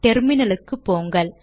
டெர்மினலுக்கு போங்கள்